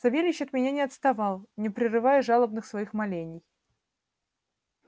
савельич от меня не отставал не прерывая жалобных своих молений